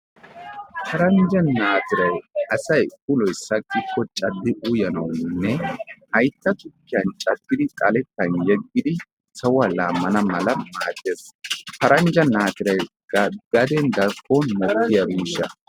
Paranjja naatiray asay ulloy sakiko caddi uyanawune haytta tukkiyan xaletan yeggidi sawuwa laamanamaladan maadees. Paranjja naatiray ga darkkon de'iya miishshsaa